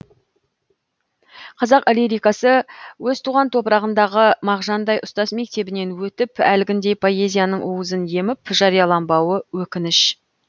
қазақ лирикасы өз туған топырағындағы мағжандай ұстаз мектебінен өтіп әлгіндей поэзияның уызын еміп жарияланбауы өкініш